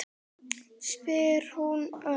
spyr hún örg.